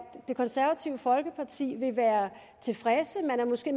det konservative folkeparti vil være tilfredse man vil måske